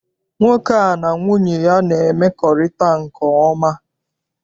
Nwoke a na nwunye ya na-emekorita nke oma.